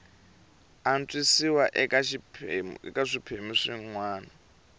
antswisiwa eka swiphemu swin wana